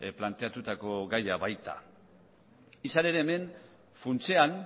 planteatuko gaia baita izan ere hemen funtsean